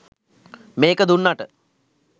මේක දුන්නට